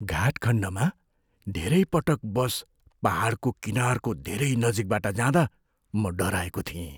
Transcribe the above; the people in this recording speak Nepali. घाट खण्डमा धेरै पटक बस पाहाडको किनारको धेरै नजिकबाट जाँदा म डराएको थिएँ।